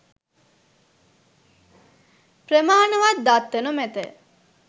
ප්‍රමානවත් දත්ත නොමැත.